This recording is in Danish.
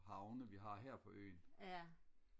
havne vi har her på øen